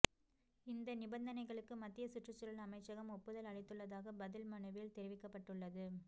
இந்த நிபந்தனைகளுக்கு மத்திய சுற்றுச்சூழல் அமைச்சகம் ஒப்புதல் அளித்துள்ளதாக பதில் மனுவில் தெரிவிக்கப்பட்டுள்ளது